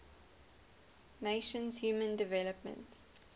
nations human development